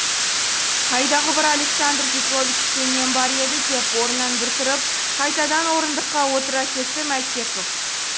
қайдағы бір александр петровичте нем бар еді деп орнынан бір тұрып қайтадан орындыққа отыра кетті мәтеков